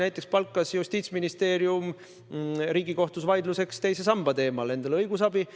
Näiteks palkas Justiitsministeerium Riigikohtus peetavaks vaidluseks teise samba teemal endale õigusabi.